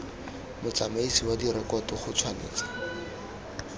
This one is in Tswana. motsamaisi wa direkoto go tshwanetse